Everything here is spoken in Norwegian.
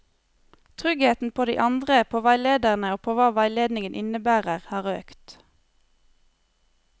Tryggheten på de andre, på veilederen og på hva veiledningen innebærer, har økt.